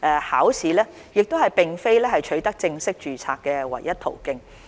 考試並非取得正式註冊的唯一途徑。